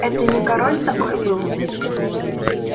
это не король такой был